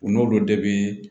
U n'olu de bɛ